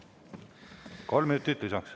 Kolm minutit lisaks.